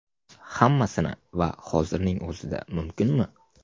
Hammasini va hozirning o‘zida mumkinmi?